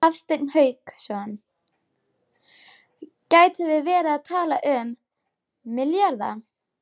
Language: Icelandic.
Hafsteinn Hauksson: Gætum við verið að tala um milljarða?